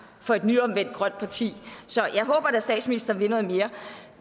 for et nyomvendt grønt parti så jeg håber at statsministeren vil noget mere